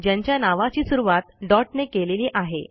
ज्यांच्या नावची सुरूवात डॉट ने केलेली आहे